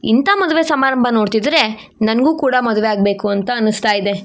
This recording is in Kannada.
ಇಂಥ ಮದುವೆ ಸಮಾರಂಭ ನೋಡ್ತಿದ್ರೆ ನನಗೂ ಕೂಡ ಮದುವೆ ಆಗ್ಬೇಕು ಅಂತ ಅನಿಸ್ತಾ ಇದೆ.